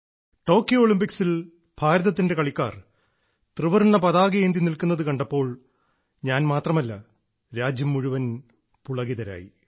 Tokyo ഒളിമ്പിക്സിൽ ഭാരതത്തിന്റെ കളിക്കാർ ത്രിവർണ്ണ പതാകയേന്തി നിൽക്കുന്നത് കണ്ടപ്പോൾ ഞാൻ മാത്രമല്ല രാജ്യം മുഴുവൻ പുളകിതരായി